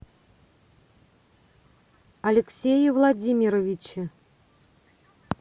алексее владимировиче